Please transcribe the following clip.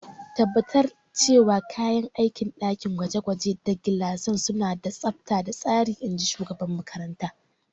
Tabbatar cewa kayan aikin dakin gwaje-gwaje da gilasan suna da tsabta da tsari, in ji shugaban makarantar.